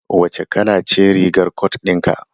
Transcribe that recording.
Wace kala ce rigar cot din ka?